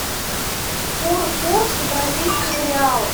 курс бразильских реалов